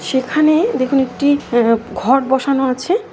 সেখানেদেখুন একটিআ-ঘট বসানো আছে।